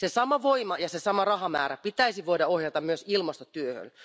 Se sama voima ja se sama rahamäärä pitäisi voida ohjata myös ilmastotyöhön.